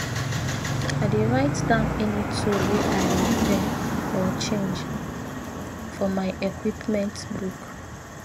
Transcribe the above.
i dey write down any tool wey i repair or change for my equipment book